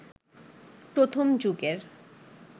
প্রথম যুগের